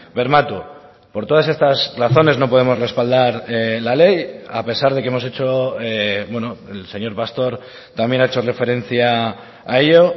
bermatu por todas estas razones no podemos respaldar la ley a pesar de que hemos hecho el señor pastor también ha hecho referencia a ello